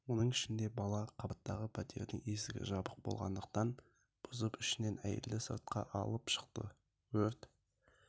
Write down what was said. оның ішінде бала қабаттағы пәтердің есігі жабық болғандықтан бұзып ішінен әйелді сыртқа алып шықты өрт